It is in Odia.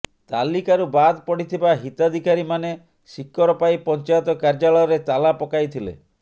ତାଲିକାରୁ ବାଦ ପଡ଼ିଥିବା ହିତଧିକାରୀମାନେ ସିକରପାଇ ପଞ୍ଚାୟତ କାର୍ଯ୍ୟାଳୟରେ ତାଲା ପକାଇଥିଲେ